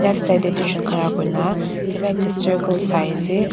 Aro side tey doijun khara kurina kiba ekta circle sai ase.